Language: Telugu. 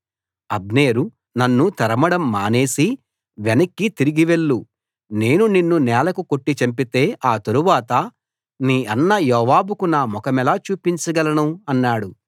అబ్నేరు నన్ను తరమడం మానేసి వెనక్కి తిరిగి వెళ్ళు నేను నిన్ను నేలకు కొట్టి చంపితే ఆ తరువాత నీ అన్న యోవాబుకు నా ముఖమెలా చూపించగలను అన్నాడు